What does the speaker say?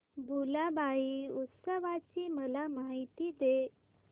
भुलाबाई उत्सवाची मला माहिती दे